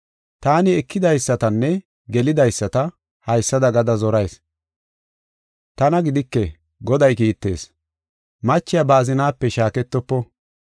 Taani ekidaysatanne gelidaysata haysada gada zorayis; tana gidike Goday kiittees; machiya ba azinaape shaaketofo.